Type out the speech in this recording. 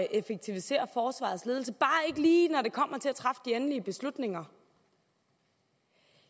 effektivisere forsvarets ledelse bare ikke lige når det kommer til at træffe de endelige beslutninger